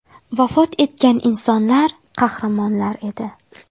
Vafot etgan insonlar, qahramonlar edi.